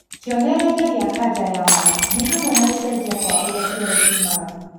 Kĩonererĩa kĩa kaja ya mara nĩ hamwe na gũcenjia kwa ũrĩa kĩoro kiumaga